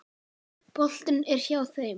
Boltinn er hjá þeim.